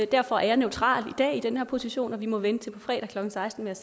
derfor er jeg neutral i dag i den her position og man må vente til på fredag klokken seksten med